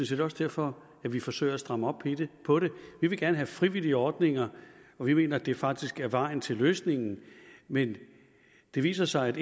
set også derfor at vi forsøger at stramme op på det vi vil gerne have frivillige ordninger og vi mener at det faktisk er vejen til løsningen men det viser sig at